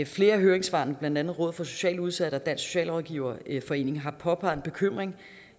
flere af høringssvarene blandt andet rådet for socialt udsatte og dansk socialrådgiverforening har påpeget en bekymring